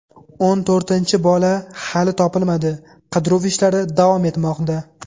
O‘n to‘rtinchi bola hali topilmadi, qidiruv ishlari davom etmoqda.